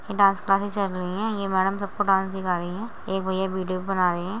ये dance classes चल रही है। ये मैडम सबको डांस सिखा रही हैं एक भैया वीडियो भी बना रहे हैं।